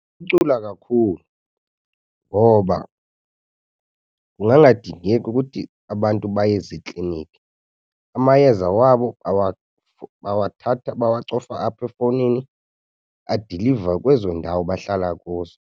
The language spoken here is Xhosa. Ukuphucula kakhulu ngoba kungangadingeki ukuthi abantu baye zikliniki. Amayeza wabo bawathatha, bawacofa apha efowunini adilivwe kwezo ndawo bahlala kuzo.